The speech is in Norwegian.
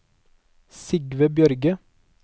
Sigve Bjørge